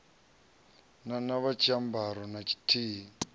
na na tshiambaro na tshithihi